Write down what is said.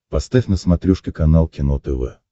поставь на смотрешке канал кино тв